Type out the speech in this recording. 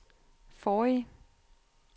forrige